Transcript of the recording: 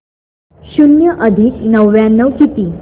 शून्य अधिक नव्याण्णव किती